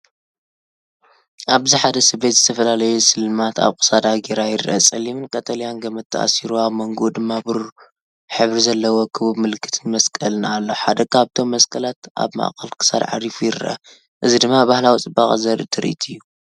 ኣብዚ ሓደ ሰበይቲ ዝተፈላለዩ ስልማት ኣብ ክሳዳ ገይራ ይርአ። ጸሊምን ቀጠልያን ገመድ ተኣሲሩ፡ ኣብ መንጎኡ ድማ ብሩር ሕብሪ ዘለዎ ክቡብ ምልክትን መስቀልን ኣሎ። ሓደ ካብቶም መስቀላት ኣብ ማእከል ክሳድ ዓሪፉ ይረአ፡እዚ ድማ ባህላዊ ጽባቐ ዘርኢ ትርኢት እዩ።